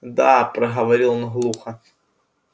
да проговорил он глухо